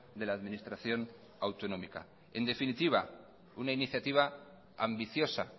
de la administración autonómica en definitiva una iniciativa ambiciosa